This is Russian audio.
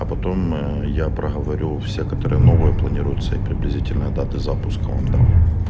а потом я проговорю все которые новые планируются и приблизительно даты запуска вам дам